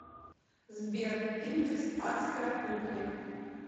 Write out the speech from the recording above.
сбер индекс адская кухня